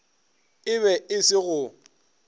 e be e se go